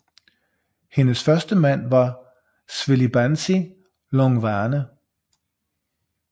Hendes første mand var Zwelibanzi Hlongwane